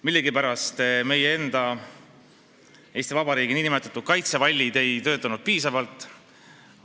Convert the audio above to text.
Millegipärast meie enda, Eesti Vabariigi nn kaitsevallid ei töötanud piisavalt.